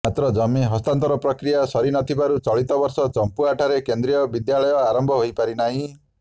ମାତ୍ର ଜମି ହସ୍ତାନ୍ତର ପ୍ରକ୍ରିୟା ସରି ନଥିବାରୁ ଚଳିତବର୍ଷ ଚମ୍ପୁଆଠାରେ କେନ୍ଦ୍ରୀୟ ବିଦ୍ୟାଳୟ ଆରମ୍ଭ ହୋଇପାରିନାହିଁ